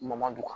Madu kan